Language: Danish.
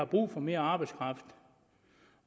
brug for mere arbejdskraft